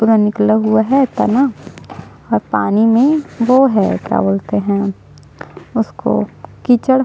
पूरा निकला हुआ है तना और पानी में वो है क्या बोलते है उसको कीचड़ --